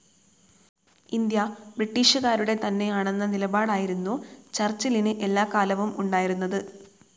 India ബ്രിട്ടീഷുകാരുടെ തന്നെയാണെന്ന നിലപാടായിരുന്നു ചർച്ചിലിന് എല്ലാക്കാലവും ഉണ്ടായിരുന്നത്.